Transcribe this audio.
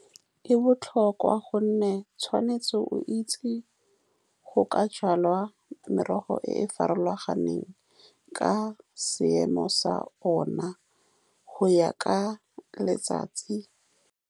E botlhokwa, ka gonne o tshwanetse o itse go ka jala merogo e e farologaneng, ka seemo sa one go ya ka letsatsi.